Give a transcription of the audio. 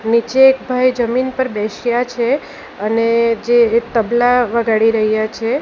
નીચે એક ભાઈ જમીન પર બેશ્યા છે અને જે એક તબલા વગાડી રહ્યા છે.